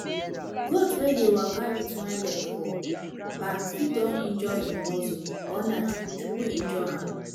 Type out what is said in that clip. goat wey dey waka wit one leg for back fit don injure im muscle or na chuku chuku injure am